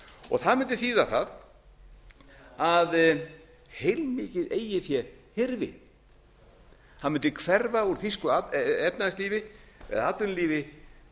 og það mundi þýða það að heilmikið eigið fé hyrfi það mundi hverfa úr þýsku efnahagslífi eða atvinnulífi